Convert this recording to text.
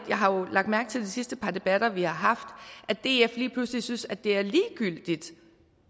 jeg har jo lagt mærke til i de sidste debatter vi har haft at df lige pludselig synes at det er ligegyldigt